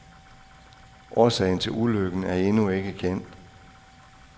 Årsagen til ulykken er endnu ikke kendt.